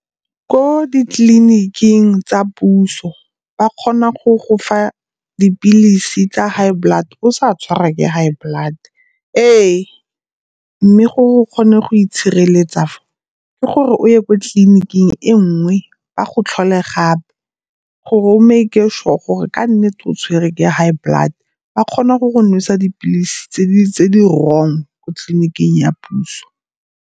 Ko ditleliniking tsa puso ba kgona go go fa dipilisi tsa high blood o sa tshwara ke high blood. Ee, mme go kgone go itshireletsa fa ke gore o ye ko tleliniking e nngwe ba go tlhole gape gore o mak-e sure gore ke nnete o tshwere ke high blood. Ba kgona go go nwesa dipilisi tse di-wrong ko tleliniking ya puso.